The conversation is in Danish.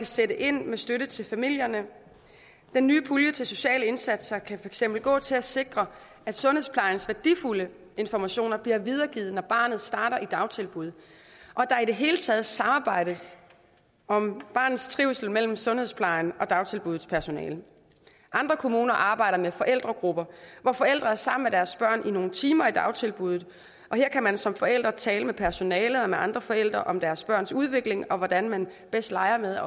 sætte ind med støtte til familierne den nye pulje til sociale indsatser kan eksempel gå til at sikre at sundhedsplejens værdifulde informationer bliver videregivet når barnet starter i dagtilbuddet og at der i det hele taget samarbejdes om barnets trivsel mellem sundhedsplejens og dagtilbuddets personale andre kommuner arbejder med forældregrupper hvor forældre er sammen med deres børn i nogle timer i dagtilbuddet og her kan man som forældre tale med personalet og med andre forældre om deres børns udvikling og hvordan man bedst leger med